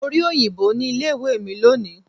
Mo rí òyìnbó ní ilé ìwé mi lónìí.